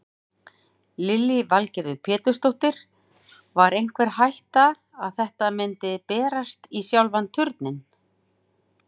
Lillý Valgerður Pétursdóttir: Var einhver hætta að þetta myndi berast í sjálfan Turninn?